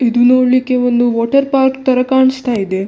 ಇದು ನೋಡ್ಲಿಕ್ಕೆ ಒಂದು ವಾಟರ್‌ ಪಾರ್ಕ್‌ ತರ ಕಾಣಿಸ್ತ ಇದೆ.